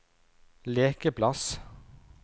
lekeplass